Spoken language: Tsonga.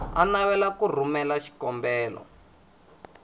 a navelaka ku rhumela xikombelo